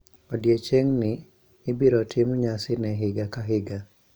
Odiechieng'ni ibiro tim nyasi ne higa ka higa.